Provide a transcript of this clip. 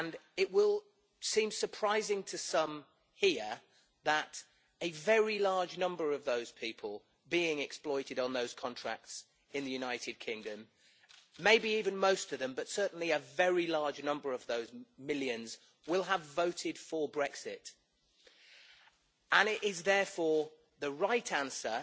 It will seem surprising to some here that a very large number of those people being exploited on those contracts in the United Kingdom maybe even most of them, but certainly a very large number of those millions will have voted for Brexit, and it is therefore the right answer